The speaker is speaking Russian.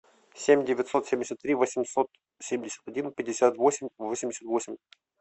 семь девятьсот семьдесят три восемьсот семьдесят один пятьдесят восемь восемьдесят восемь